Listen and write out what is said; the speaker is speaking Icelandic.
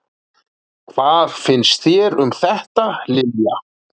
Hvað finnst þér um þetta, Lilja?